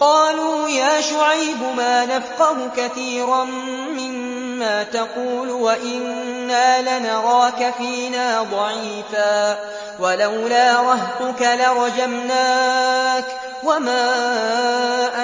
قَالُوا يَا شُعَيْبُ مَا نَفْقَهُ كَثِيرًا مِّمَّا تَقُولُ وَإِنَّا لَنَرَاكَ فِينَا ضَعِيفًا ۖ وَلَوْلَا رَهْطُكَ لَرَجَمْنَاكَ ۖ وَمَا